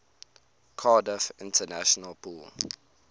cardiff international pool